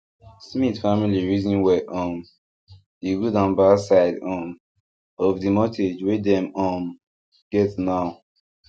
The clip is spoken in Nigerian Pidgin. smith family reason well um the good and bad side um of the mortgage wey dem um get now